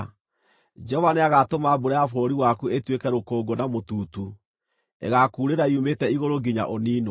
Jehova nĩagatũma mbura ya bũrũri waku ĩtuĩke rũkũngũ na mũtutu; ĩgaakuurĩra yumĩte igũrũ nginya ũniinwo.